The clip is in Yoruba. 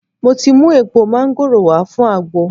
Mo ti mu èèpo máńgòrò wá fun àgbo